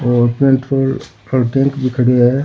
और पेट्रोल पर टेंक भी खड़ो है।